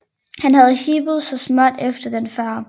Han havde hibbet så småt efter den før